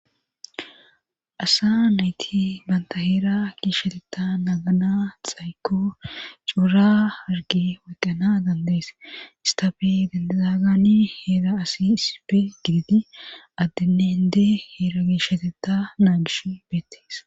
asa nayti banta heera giishsheteta nagana xayko cuura hargi weqqana dandees istafe dandedagani heera asi issife giditi addeneende heera gishsheteta naa gish beettees